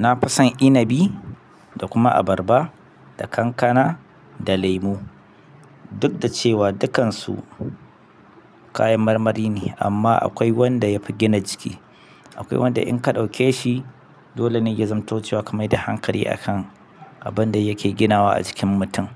Na fi son inabi da kuma abarba, da kankana da laimo. Duk da cewa dukansu kayan marmari ne amma akwai wanda ya fi gina jiki. Akwai wanda inka ɗauke shi dole ne ya zamto cewa ka mai da hankali akan abin da yake ginawa a jikin mitum.